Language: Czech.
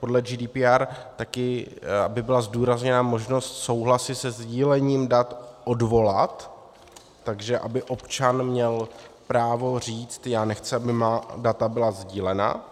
podle GDPR taky, aby byla zdůrazněna možnost souhlasy se sdílením dat odvolat, takže aby občan měl právo říct já nechci, aby má data byla sdílena.